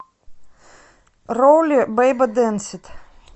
роули бейба денсит